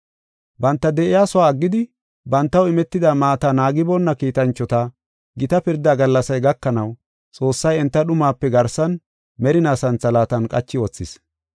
Banta de7iyasuwa aggidi, bantaw imetida maata naagiboonna kiitanchota, gita pirda gallasay gakanaw Xoossay enta dhumape garsan merinaa santhalaatan qachi wothis.